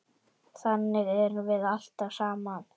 Þannig erum við alltaf saman.